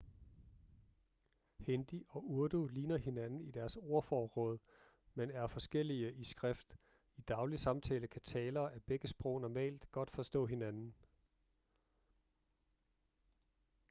hindi og urdu ligner hinanden i deres ordforråd men er forskellige i skrift i daglig samtale kan talere af begge sprog normalt godt forstå hinanden